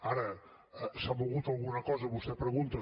ara s’ha mogut alguna cosa vostè pregunta